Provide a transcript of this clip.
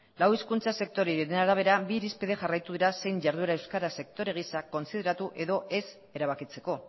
lau hizkuntza sektore horien arabera bi irizpide jarraitu dira zein jarduera euskara sektore gisa kontsideratu edo ez erabakitzeko